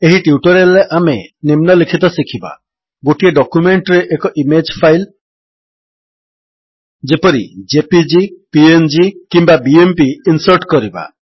ଏହି ଟ୍ୟୁଟୋରିଆଲ୍ ରେ ଆମେ ନିମ୍ନଲିଖିତ ଶିଖିବା ଗୋଟିଏ ଡକ୍ୟୁମେଣ୍ଟରେ ଏକ ଇମେଜ୍ ଫାଇଲ୍ ଯେପରି ଜେପିଇଜି ପିଏନଜି କିମ୍ୱା ବିଏମ୍ପି ଇନ୍ସର୍ଟ କରିବା